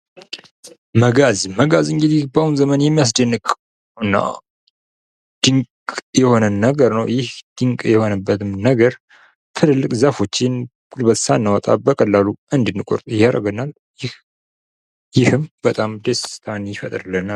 መጋዝ ፦ መጋዝ እንግዲህ በአሁን ዘመን የሚያስደንቅ እና ድንቅ የሆነ ነገር ነው ። ይህ ድንቅ የሆነበትም ነገር ትልልቅ ዛፎችን ጉልበት ሳናወጣ በቀላሉ እንድንቆርጥ ያደርገናል ። ይህም በጣም ደስታን ይፈጥርልናል ።